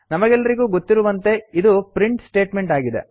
ನಮಗೆಲ್ಲರಿಗೂ ಗೊತ್ತಿರುವಂತೆ ಇದು ಪ್ರಿಂಟ್ ಸ್ಟೇಟ್ಮೆಂಟ್ ಆಗಿದೆ